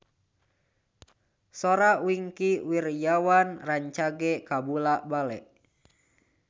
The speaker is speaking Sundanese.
Sora Wingky Wiryawan rancage kabula-bale